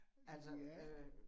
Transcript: Ja